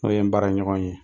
N'o ye n baara ɲɔgɔn ye.